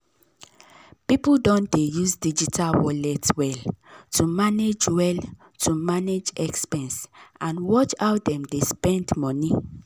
people don dey use digital wallet well to manage well to manage expense and watch how dem dey spend money.